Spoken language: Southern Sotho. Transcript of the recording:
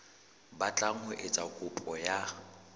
batlang ho etsa kopo ya